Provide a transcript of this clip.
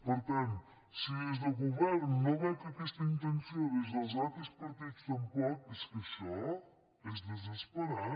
per tant si des del govern no veig aquesta intenció des dels altres partits tampoc és que això és desesperant